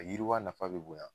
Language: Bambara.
Mɛ yiriwa nafa be bonya